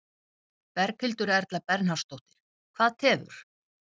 Berghildur Erla Bernharðsdóttir: Hvað tefur?